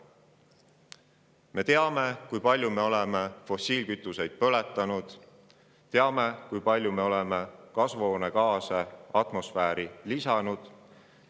Me teame, kui palju me oleme fossiilkütuseid põletanud, ja teame, kui palju me oleme kasvuhoonegaase atmosfääri heitnud.